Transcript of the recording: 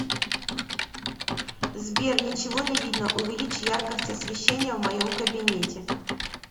сбер ничего не видно увеличь яркость освещения в моем кабинете